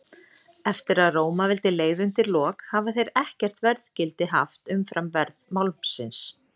Eftir að Rómaveldi leið undir lok hafa þeir ekkert verðgildi haft umfram verð málmsins.